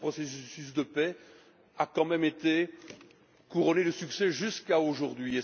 Parce que ce processus de paix a tout de même été couronné de succès jusqu'à aujourd'hui.